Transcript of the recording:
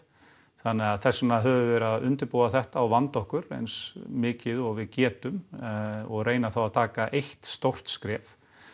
þannig að þess vegna höfum við verið að undirbúa þetta og vanda okkur eins mikið og við getum og reyna þá að taka eitt stórt skref